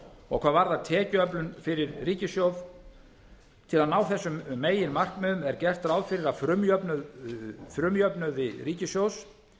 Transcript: árum hvað varðar tekjuöflun fyrir ríkissjóð til að ná þessum meginmarkmiðum er gert ráð fyrir að frumjöfnuði ríkissjóðs